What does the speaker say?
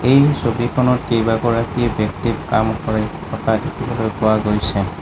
এই ছবিখনত কেইবাগৰাকী ব্যক্তি কাম কৰি থকা দেখিবলৈ পোৱা গৈছে।